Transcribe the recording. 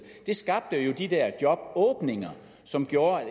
det skabte jo de der jobåbninger som gjorde at